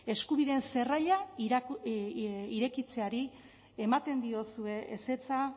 eskubideen zerraila irekitzeari ematen diozue ezetza